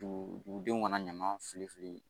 Dugu dugudenw kana ɲama fili fili